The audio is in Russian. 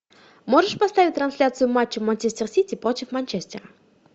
можешь поставить трансляцию матча манчестер сити против манчестера